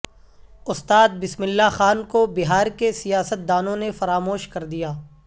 استاد بسم اللہ خان کو بہار کے سیاستدانوں نے فراموش کر دیا